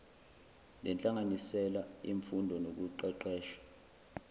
lenhlanganisela yemfundo nokuqeqesha